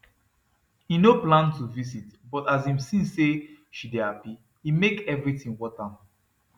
e no plan to visit but as him see say she dey happy e make everything worth am